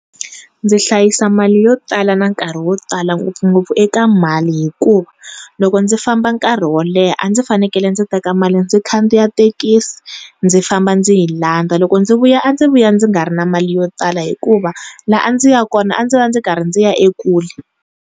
Ndzi hlayisa mali yo tala na nkarhi wo tala ngopfungopfu eka mali hikuva, loko ndzi famba nkarhi wo leha a ndzi fanekele ndzi teka mali ndzi khandziya thekisi ndzi famba ndzi yi landza loko ndzi vuya a ndzi vuya ndzi nga ri na mali yo tala hikuva la a ndzi ya kona a ndzi va ndzi karhi ndzi ya ekule.